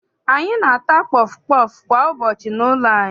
Anyị na-ata pọfụ pọọfụ kwa ụbọchị n'ụlọ anyị.